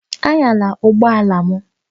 Anyala ụgbọ ala m!